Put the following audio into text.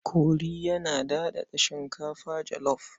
Kori yana daɗaɗa shinkafa jalaf.